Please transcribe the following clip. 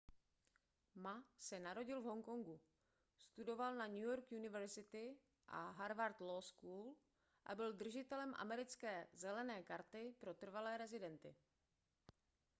ma se narodil v honkongu studoval na new york university a harward law school a byl držitelem americké zelené karty pro trvalé rezidenty